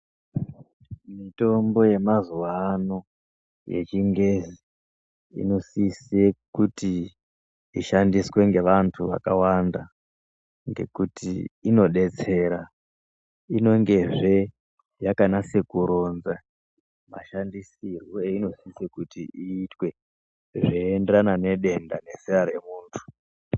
Mitombo yemazuwano yechingezi inosise kuti ishandiswe ngevantu vakawanda ngekuti inodetsera inongezve yakanase kuronza mashandisirwe einosise kuti iitwe zveienderana nedenda nezera remuntu.